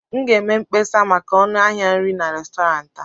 m ga-eme mkpesa maka ọnụ ahịa nri na Restọrantị a